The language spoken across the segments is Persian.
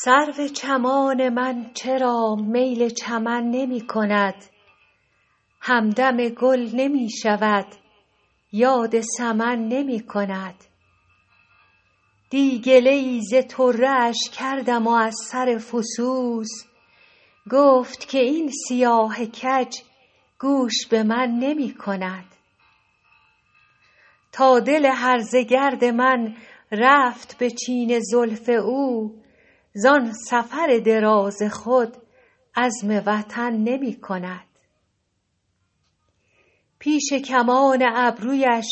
سرو چمان من چرا میل چمن نمی کند همدم گل نمی شود یاد سمن نمی کند دی گله ای ز طره اش کردم و از سر فسوس گفت که این سیاه کج گوش به من نمی کند تا دل هرزه گرد من رفت به چین زلف او زان سفر دراز خود عزم وطن نمی کند پیش کمان ابرویش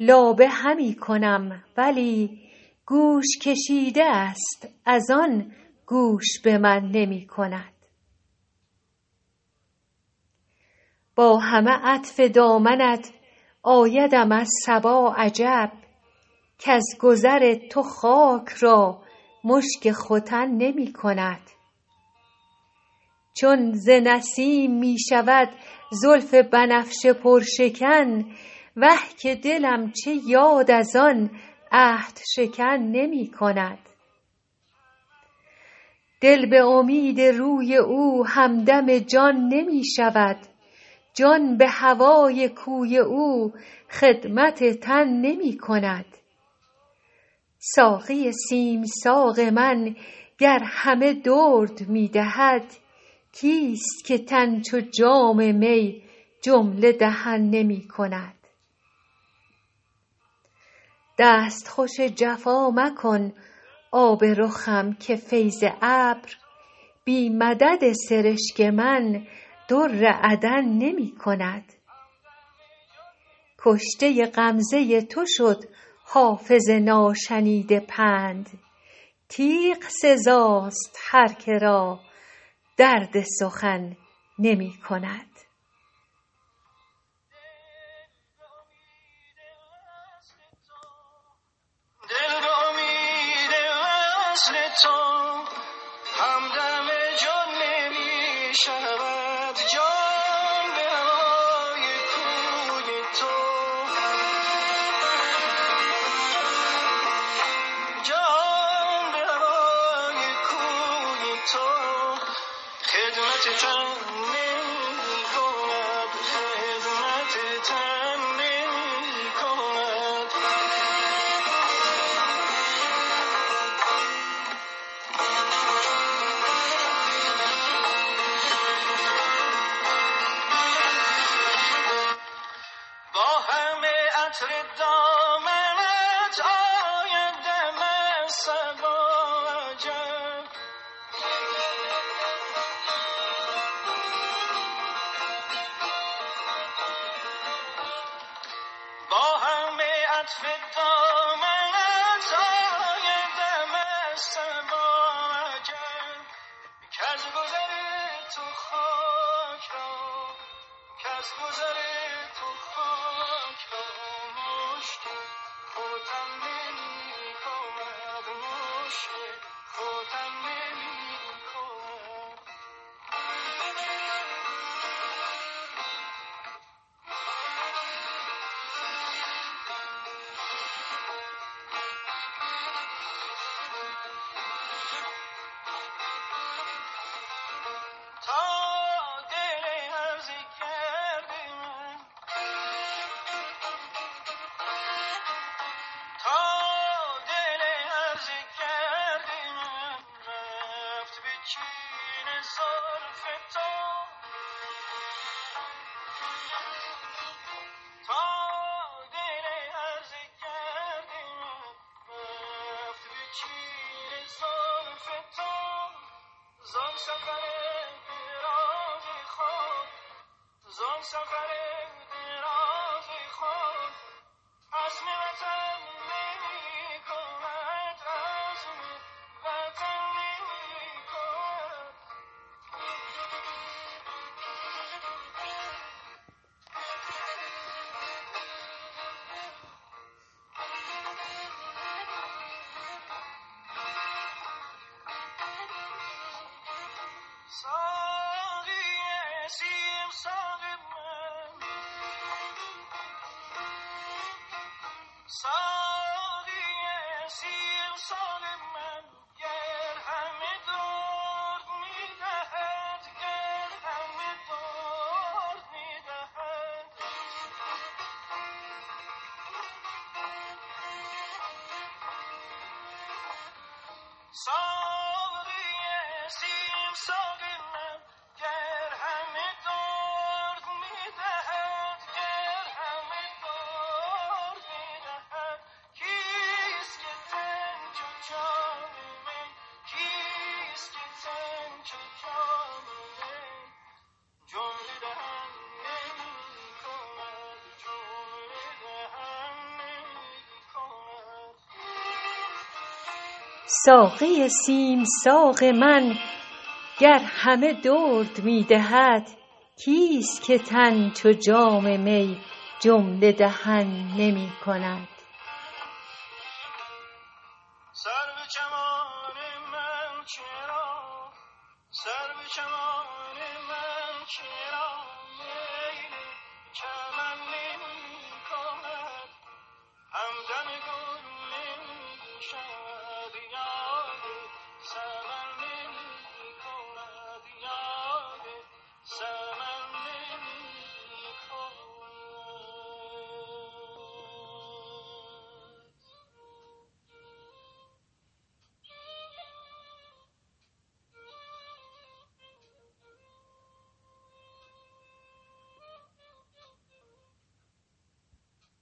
لابه همی کنم ولی گوش کشیده است از آن گوش به من نمی کند با همه عطف دامنت آیدم از صبا عجب کز گذر تو خاک را مشک ختن نمی کند چون ز نسیم می شود زلف بنفشه پرشکن وه که دلم چه یاد از آن عهدشکن نمی کند دل به امید روی او همدم جان نمی شود جان به هوای کوی او خدمت تن نمی کند ساقی سیم ساق من گر همه درد می دهد کیست که تن چو جام می جمله دهن نمی کند دستخوش جفا مکن آب رخم که فیض ابر بی مدد سرشک من در عدن نمی کند کشته غمزه تو شد حافظ ناشنیده پند تیغ سزاست هر که را درد سخن نمی کند